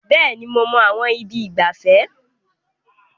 Bẹ́ẹ̀ni, mo mọ àwọn ibi ìgbafẹ́.